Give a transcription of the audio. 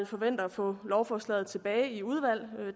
forventer at få lovforslaget tilbage i udvalg